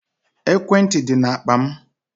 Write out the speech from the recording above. Ekwentị dị na akpa m.